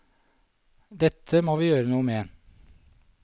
Dette må vi gjøre noe med.